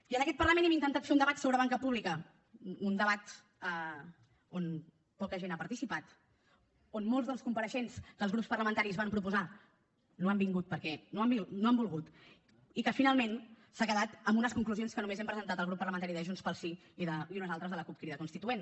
i en aquest parlament hem intentat fer un debat sobre banca pública un debat on poca gent ha participat on molts dels compareixents que els grups parlamentaris van proposar no han vingut perquè no han volgut i que finalment s’ha quedat en unes conclusions que només hem presentat el grup parlamentari de junts pel sí i unes altres de la cup crida constituent